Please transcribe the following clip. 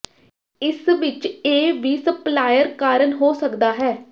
ਇਸ ਵਿਚ ਇਹ ਵੀ ਸਪਲਾਇਰ ਕਾਰਨ ਹੋ ਸਕਦਾ ਹੈ